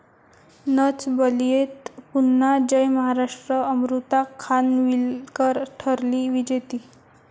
नच बलिये'त पुन्हा 'जय महाराष्ट्र', अमृता खानविलकर ठरली विजेती